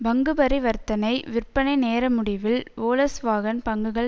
பங்குபரிவர்த்தனை விற்பனை நேரமுடிவில் வோல்ஸ்வாகன் பங்குகள்